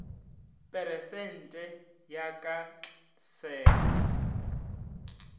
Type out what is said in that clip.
peresente ya ka tlse ga